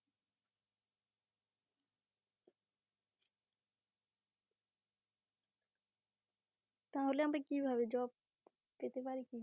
তাহলে আমি কিভাবে job পেতে পারি?